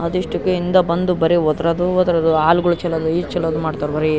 ಅದೆಷ್ಟಕ್ಕೆಂದೆ ಬಂದು ಬರಿ ಓದುರೋದು ಓದುರೋದು ಆಲ್ಗುಳು ಚಲ್ಲೂದು ಈದ್ ಚಲ್ಲೂದು ಮಾಡ್ತಾರ್ ಬರೀ --